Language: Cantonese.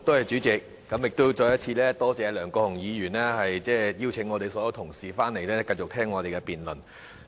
再次多謝梁國雄議員邀請所有同事回來，繼續聆聽我們的辯論。